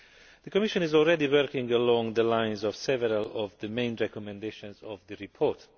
The Commission is already working along the lines of several of the main recommendations of the report.